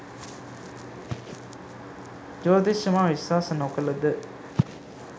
ජෝතිෂ්‍යය මා විශ්වාස නොකලද